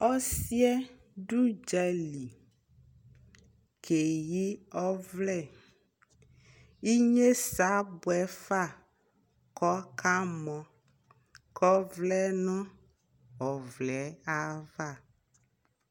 ɔsiiɛ dʋ ʋdzali kɛyi ɔvlɛ, inyɛsɛ abʋɛƒa kʋ ɔka mɔ kʋ ɔvlɛ nʋ ɔvlɛɛ aɣa